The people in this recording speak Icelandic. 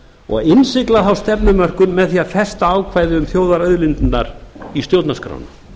og innsigla þá stefnumörkun með því að festa ákvæði um þjóðarauðlindirnar í stjórnarskrána